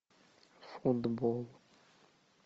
футбол